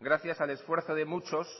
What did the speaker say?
gracias al esfuerzo de muchos